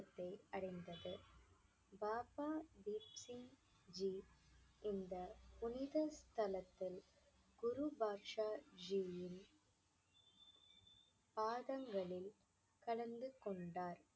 அடைந்தது. பாபா தீப் சிங்ஜி இந்த புனித ஸ்தலத்தில் குரு பாட்ஷாஜியின் பாதங்களில் கலந்து கொண்டார்